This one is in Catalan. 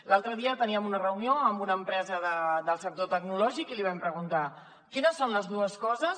l’altre dia teníem una reunió amb una empresa del sector tecnològic i li vam preguntar quines són les dues coses